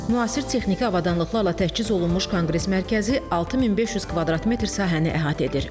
Müasir texniki avadanlıqlarla təchiz olunmuş konqres mərkəzi 6500 kvadrat metr sahəni əhatə edir.